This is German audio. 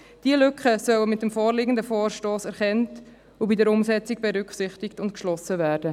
Diese Lücken sollen mit dem vorliegenden Vorstoss erkannt und bei der Umsetzung berücksichtigt und geschlossen werden.